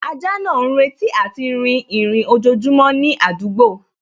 Ajá náà ń retí àti rìn ìrìn ojojúmọ́ ní àdúgbò